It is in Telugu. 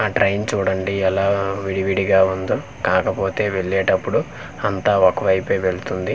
ఆ ట్రైన్ చూడండి ఎలా విడివిడిగా ఉందో కాకపోతే వెల్లేటప్పుడు అంతా ఒకవైపే వెళుతుంది.